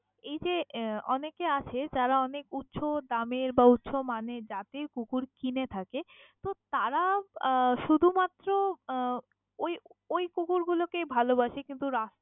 এই যে আহ অনেকে আছে যারা অনেক উঁচু দামের বা উঁচু মানের জাতের কুকুর কিনে থাকে, তো তারা আহ শুধু মাত্র আহ ওই ওই কুকুরগুলো কেই ভালবাসে কিন্তু রাস্ত~।